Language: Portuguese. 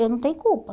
Eu não tenho culpa.